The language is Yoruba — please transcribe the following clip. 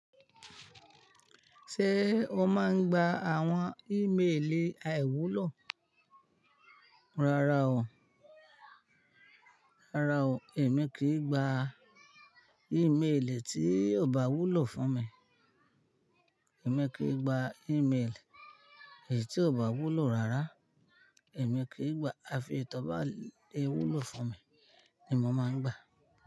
Ṣé o máa ń gba àwọn, ìméèlè àìwúlò? Rárá o rárá o, èmi kì í gba ìméèlè tí ò bá wúlò fún mi. Èmi kì í gba ìméèlè tí ò bá wúlò rárá. Èmi kì í gba. Àfi tí ọ bá wúlò fún mi ni mo máa ń gbà.